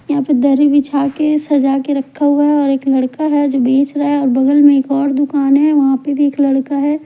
यहां पे दहरी बिछा के सजा के रखा हुआ है और एक लड़का है जो बेच रहा है और बगल में एक और दुकान है वहां पर एक लड़का है।